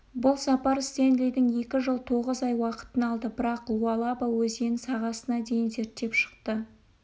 бұл сапар стенлидің екі жыл тоғыз ай уақытын алды бірақ луалаба өзенін сағасына дейін зерттеп шықты